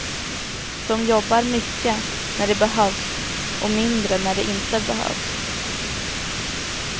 De jobbar mycket när det behövs och mindre när det inte behövs.